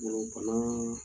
Golo bana